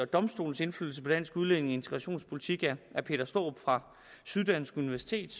domstolens indflydelse på dansk udlændinge og integrationspolitik er peter starup fra syddansk universitet